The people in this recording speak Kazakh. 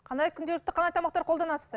қандай күнделікті қандай тамақтар қолданасыздар